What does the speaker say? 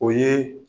O ye